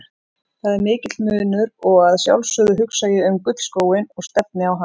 Það er mikill munur og að sjálfsögðu hugsa ég um gullskóinn og stefni á hann.